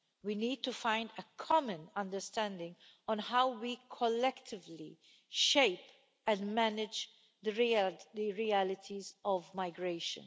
We need to find a common understanding on how we collectively shape and manage the realities of migration.